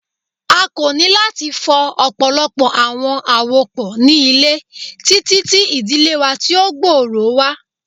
A ko ni lati fọ ọpọlọpọ awọn awopọ ni ile titi ti idile wa ti o gbooro wa